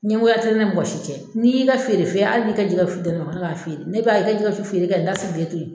Ɲɛngoya tɛ ne ni mɔgɔ si cɛ n'i y'i feere fɛn hali n'i ka jɛgɛ su di ne ma ne b'a feere ne b'a i ka jɛgɛ su feere kɛ n ta sigilen to ye.